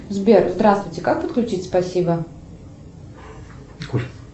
сбер здравствуйте как подключить спасибо